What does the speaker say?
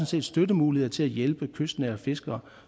set støttemuligheder til at hjælpe de kystnære fiskere